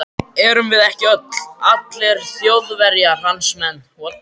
Erum við ekki öll, allir Þjóðverjar, hans menn.